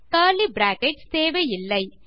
curly brackets தேவையில்லை